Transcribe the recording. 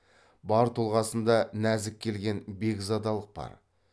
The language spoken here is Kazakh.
бар тұлғасында нәзік келген бекзадалық бар